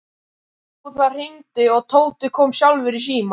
Jú, það hringdi og Tóti kom sjálfur í símann.